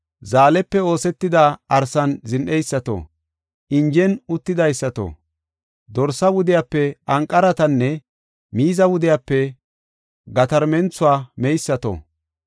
zaalepe oosetida arsan zin7eysato, injen uttidaysato, dorsa wudiyape anqaratanne miiza wodiyape gatarmenthuwa meysato,